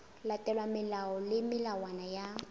latelwa melao le melawana ya